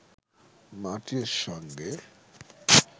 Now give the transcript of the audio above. মাটির সঙ্গে